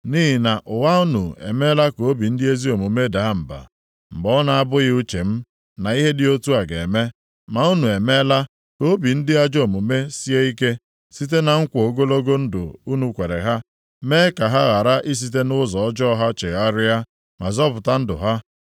Nʼihi na ụgha unu emeela ka obi ndị ezi omume daa mba, mgbe ọ na-abụghị uche m na ihe dị otu a ga-eme. Ma unu emeela ka obi ndị ajọ omume sie ike site na nkwa ogologo ndụ unu kwere ha, mee ka ha ghara isite nʼụzọ ọjọọ ha chegharịa ma zọpụta ndụ ha.